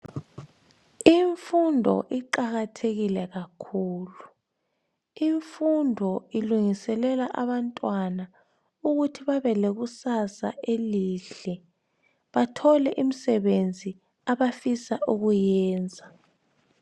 Imfundo iqakathekile kakhulu. Imfundo ilungiselela abantwana ukuthi babe lekusasa elihle bathole imsebenzi abafisa ukuyiyenza.